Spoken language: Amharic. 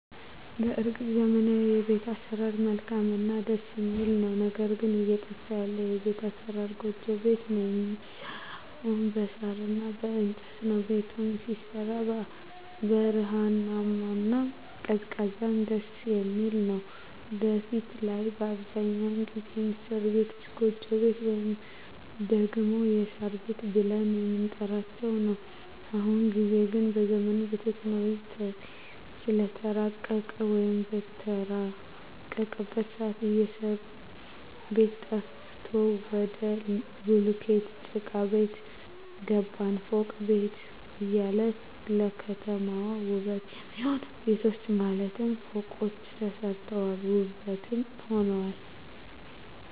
በርግጥ ዘመናዊዉ የቤት አሰራር መልካምእና ደስ የሚል ነዉ ነገር ግን እየጠፋ ያለ የቤት አሰራር ጎጆ ቤት ነዉ የሚሰራዉም በሳር እና በእንጨት ነዉ ቤቱም ሲሰራ ብርሃናማ እና ቀዝቃዛም ደስየሚል ነዉ በፊት ላይ አብዛኛዉን ጊዜ የሚሰሩ ቤቶች ጎጆ ቤት ወይም ደግሞ የሳር ቤት ብለን የምንጠራዉ ነዉ በአሁኑ ጊዜ ግን ዘመኑም በቴክኖሎጂ ስለተራቀቀ ወይም በተራቀቀበት ሰአት የእሳሩ ቤት ጠፍቶ ወደ ቡሉኬት ጭቃቤት ገባን ፎቅ ቤት እያለ ለከተማዋ ዉበት የሚሆኑ ቤቶች ማለትም ፎቆች ተሰርተዋል ዉበትም ሆነዋል